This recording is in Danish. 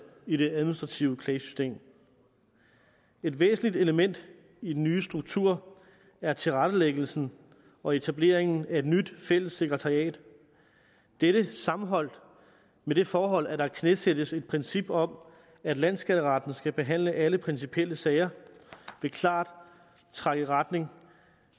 i det administrative klagesystem et væsentligt element i den nye struktur er tilrettelæggelsen og etableringen af et nyt fælles sekretariat dette sammenholdt med det forhold at der knæsættes et princip om at landsskatteretten skal behandle alle principielle sager vil klart trække i retning